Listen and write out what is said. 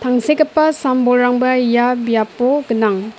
tangsekgipa sam-bolrangba ia biapo gnang.